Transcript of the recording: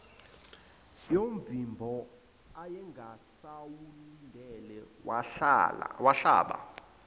yomvimbo ayengasawulindele wahlaba